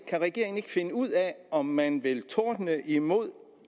kan regeringen ikke finde ud af om man vil tordne imod